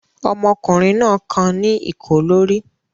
Ọmọkùnrin náà kan ní ìkó lórí?